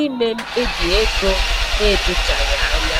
ime mkpebi ego na-edochaghị anya.